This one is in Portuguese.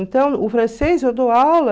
Então, o francês eu dou aula...